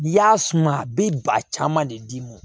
I y'a suma a bɛ ba caman de d'i ma